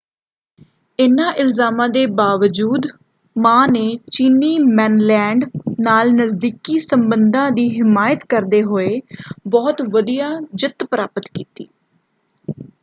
ਇਨ੍ਹਾਂ ਇਲਜ਼ਾਮਾਂ ਦੇ ਬਾਵਜੂਦ ਮਾਂ ਨੇ ਚੀਨੀ ਮੇਨਲੈਂਡ ਨਾਲ ਨਜ਼ਦੀਕੀ ਸੰਬੰਧਾਂ ਦੀ ਹਿਮਾਇਤ ਕਰਦੇ ਹੋਏੇ ਬਹੁਤ ਵਧੀਆ ਜਿੱਤ ਪ੍ਰਾਪਤ ਕੀਤੀ।